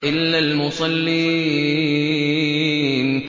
إِلَّا الْمُصَلِّينَ